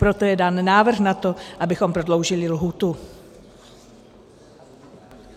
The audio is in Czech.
Proto je dán návrh na to, abychom prodloužili lhůtu.